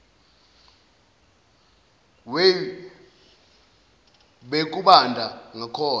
way bekubanda ngakhona